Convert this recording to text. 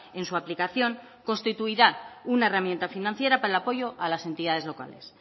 en su aplicación constituirá una herramienta financiera para el apoyo a las entidades locales